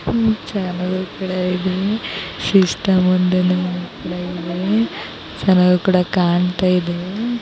ಚೆನಾಗು ಕೂಡ ಇದೆ ಒಂದು ಕೂಡ ಇದೆ ಚೆನ್ನಾಗೂ ಕೂಡ ಕಾಣ್ತಾ ಇದೆ.